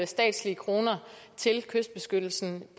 statslige kroner til kystbeskyttelse